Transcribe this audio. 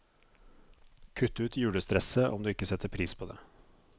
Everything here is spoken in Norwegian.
Kutt ut julestresset, om du ikke setter pris på det.